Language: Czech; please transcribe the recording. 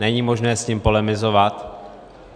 Není možné s tím polemizovat.